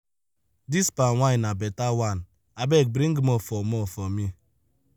dis palm wine na beta one abeg bring more for more for me.